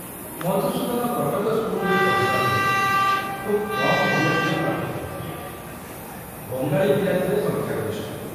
ମଧୁସୂଦନ କଟକ ସ୍କୁଲରେ ପଢ଼ିବାବେଳେ ଖୁବ କମ ଓଡ଼ିଆ ପିଲା ପାଠ ପଢ଼ୁଥିଲେ, ବଙ୍ଗାଳୀ ପିଲା ଥିଲେ ସଂଖ୍ୟାଗରିଷ୍ଠ।